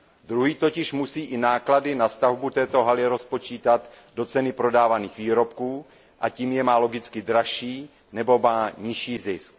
Druhý totiž musí i náklady na stavbu této haly rozpočítat do ceny prodávaných výrobků, a tím je má logicky dražší nebo má nižší zisk.